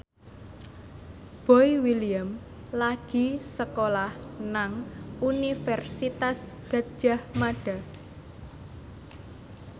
Boy William lagi sekolah nang Universitas Gadjah Mada